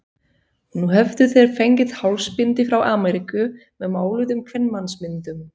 Nú höfðu þeir fengið hálsbindi frá Ameríku með máluðum kvenmannsmyndum.